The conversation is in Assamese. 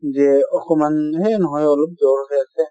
যে অকন মান হে নহয় অলপ জ্বৰ হৈ আছে |